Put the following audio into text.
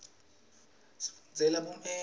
isisita sifundzele bumeli